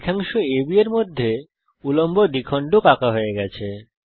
রেখাংশ AB এর মধ্যে উল্লম্ব দ্বিখণ্ডক আঁকা হয়ে গেছে